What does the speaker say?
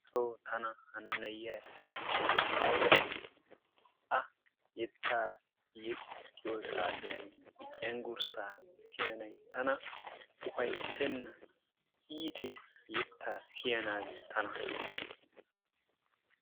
Xoosso tana hana na'iya yexxiyoode aybba iitti! A yetta yeexxiyo saatiyan I cenggurssa siyyanay tana ufayssena. iittees yetta siyyanaage tana.